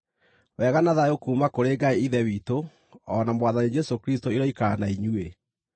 Wega na thayũ kuuma kũrĩ Ngai Ithe witũ o na Mwathani Jesũ Kristũ iroikara na inyuĩ.